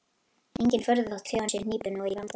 Engin furða þótt þjóðin sé hnípin og í vanda.